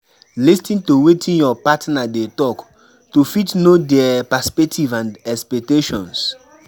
Lis ten to wetin your partner dey talk to fit know their perspective and expectations